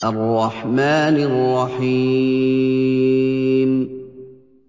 الرَّحْمَٰنِ الرَّحِيمِ